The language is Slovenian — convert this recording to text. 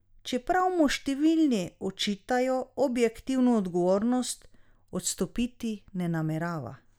Čeprav mu številni očitajo objektivno odgovornost, odstopiti ne namerava.